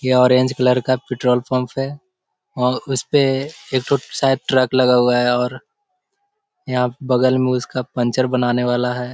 ये orange colour का petrol pump है और उसपे एकठो शायद ट्रक लगा हुआ है और यहाँ बगल में उसका पंचर बनाने वाला है।